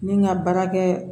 Ni n ka baarakɛ